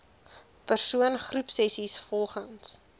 persoon groepsessies volgens